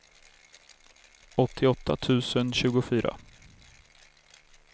åttioåtta tusen tjugofyra